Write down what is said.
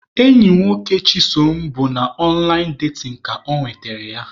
Enyi nwoke Chisom bụ na ọnlaịn datin ka ọ nwetara ya.